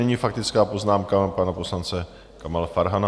Nyní faktická poznámka pana poslance Kamala Farhana.